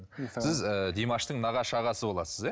сіз ы димаштың нағашы ағасы боласыз иә